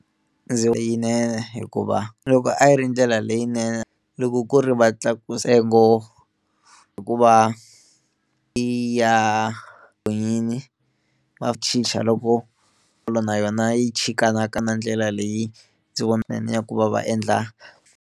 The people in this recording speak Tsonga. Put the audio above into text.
Ndzi leyinene hikuva loko a yi ri ndlela leyinene loko ku ri va tlakusa ntsengo hikuva yi ya va chicha loko na yona yi chikanaka na ndlela leyi ndzi vona ku va va endla.